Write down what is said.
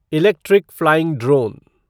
electric flying drone